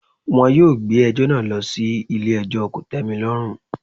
Wọn yóò gbé ẹjọ́ náà lọ sí ilé ẹjọ́ kòtẹ́milọ́rùn.